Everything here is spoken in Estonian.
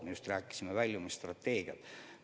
Me just rääkisime väljumisstrateegiast.